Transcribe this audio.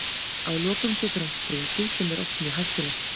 Að lokum getur hann sprungið sem er oft mjög hættulegt.